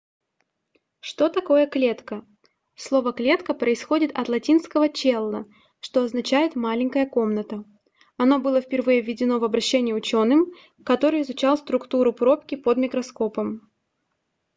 что такое клетка слово клетка происходит от латинского cella что означает маленькая комната оно было впервые введено в обращение учёным который изучал структуру пробки под микроскопом